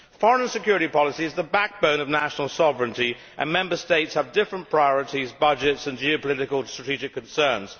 Foreign and security policy is the backbone of national sovereignty and Member States have different priorities, budgets and geopolitical strategic concerns.